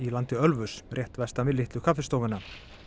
landi Ölfuss rétt vestan við Litlu kaffistofuna